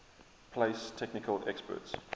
place technical experts